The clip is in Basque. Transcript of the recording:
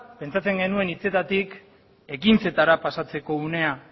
pentsatzen genuen hitzetatik ekintzetara pasatzeko unea